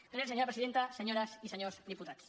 gràcies senyora presidenta senyores i senyors diputats